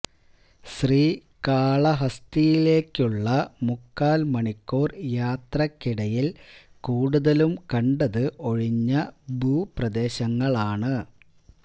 ശ്രീ കാളഹസ്തിയിലേക്കുള്ള മുക്കാൽ മണിക്കൂർ യാത്രയ്ക്കിടയിൽ കൂടുതലും കണ്ടത് ഒഴിഞ്ഞ ഭൂപ്രദേശങ്ങളാണ്